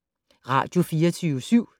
Radio24syv